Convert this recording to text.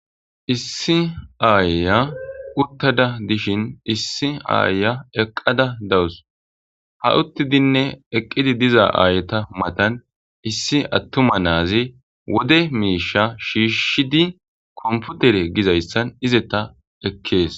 issi aaya uttada dishin issi aaya eqqada dawus ha uttidinne eqqidi diza aayeta matan issi attuma naazi wode miisha shiishshidi komputere gizayssan izeta ekkees